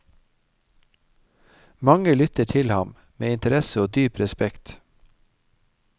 Mange lytter til ham med interesse og dyp respekt.